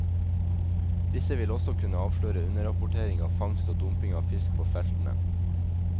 Disse vil også kunne avsløre underrapportering av fangst og dumping av fisk på feltene.